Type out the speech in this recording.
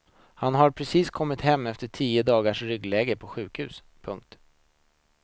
Han har precis kommit hem efter tio dagars ryggläge på sjukhuset. punkt